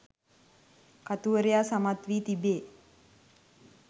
කතුවරයා සමත් වී තිබේ